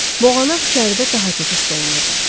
Boğanaq içəridə daha çox hiss olunurdu.